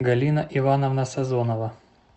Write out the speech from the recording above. галина ивановна сазонова